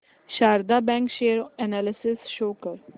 Sharda bank share analysis show कर